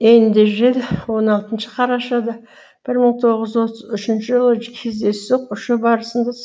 эйнджел он алтыншы қарашада бір мың тоғыз жүз отыз үшінші жылы кездейсоқ ұшу барысында